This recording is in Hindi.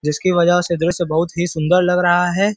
जिसकी वजह से दृश्य बहुत ही सुंदर लग रहा है।